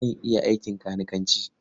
Zan iya aikin kanikanci.